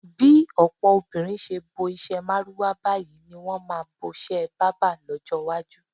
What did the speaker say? Bí ò̩pò̩ obìnrin s̩e bo is̩é̩ márúwá báyìí ní wo̩n máa bos̩é̩ bábà ló̩jó̩ iwájú.